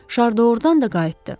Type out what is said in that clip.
Şar doğrudan da qayıtdı.